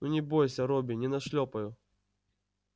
ну не бойся робби не нашлёпаю